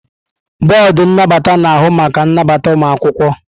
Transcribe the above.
Bọọdụ nnabata na-ahụ maka nnabata ụmụ akwụkwọ.